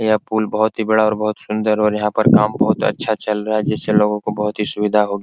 यह पुल बहुत ही बड़ा और बहुत सुंदर है और यहाँ पर काम बहुत अच्छा चल रहा है जिससे लोगों को बहुत ही सुविधा होगी ।